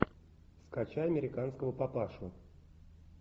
скачай американского папашу